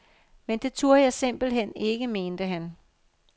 Men det turde jeg simpelt hen ikke, mente han.